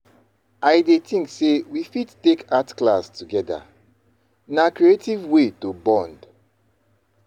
I dey think say we fit take art class together; na creative way to bond.